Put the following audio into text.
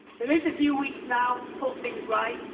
There are a few weeks now to put things right.